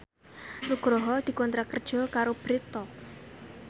Nugroho dikontrak kerja karo Bread Talk